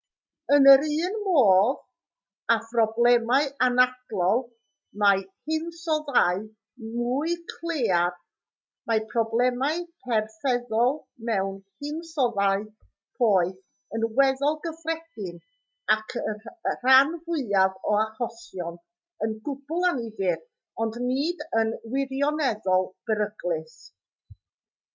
yn yr un modd â phroblemau anadlol mewn hinsoddau mwy claear mae problemau perfeddol mewn hinsoddau poeth yn weddol gyffredin ac yn y rhan fwyaf o achosion yn gwbl annifyr ond nid yn wirioneddol beryglus